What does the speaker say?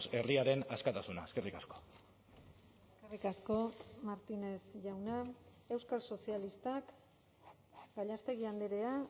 herriaren askatasuna eskerrik asko eskerrik asko martínez jauna euskal sozialistak gallástegui andrea